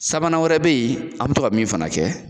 Sabanan wɛrɛ bɛ yen an bɛ to ka min fana kɛ